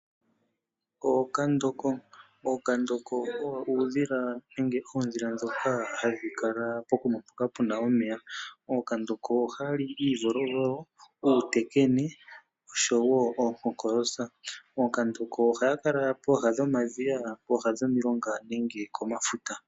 Ookandoko owo uudhila mboka hawu kala pooha dhomeya ngaashi pomadhiya nenge peguta, oshoka omo hadhi mono iikulya. Ookandoko ohaya li uuvolvolo nosho wo tuu.